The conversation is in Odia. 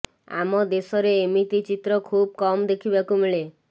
ଆମ ଦେଶରେ ଏମିତି ଚିତ୍ର ଖୁବ୍ କମ୍ ଦେଖିବାକୁ ମିଳେ